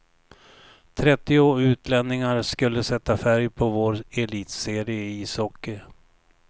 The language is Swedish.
Trettio utlänningar skulle sätta färg på vår elitserie i ishockey.